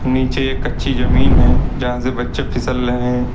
नीचे एक कच्ची जमीन है जहां से बच्चे फिसल रहें--